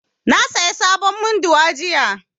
Na saya sabon munduwa jiya